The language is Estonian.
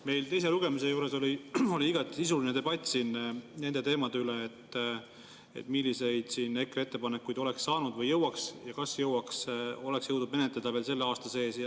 Meil teise lugemise juures oli siin igati sisuline debatt nende teemade üle, milliseid EKRE ettepanekuid oleks saanud või jõuaks menetleda veel selle aasta sees.